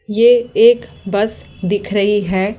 ये एक बस दिख रही है।